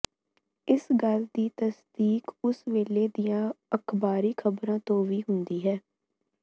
ਇਸ ਗੱਲ ਦੀ ਤਸਦੀਕ ਉਸ ਵੇਲੇ ਦੀਆਂ ਅਖ਼ਬਾਰੀ ਖ਼ਬਰਾਂ ਤੋਂ ਵੀ ਹੁੰਦੀ ਹੈ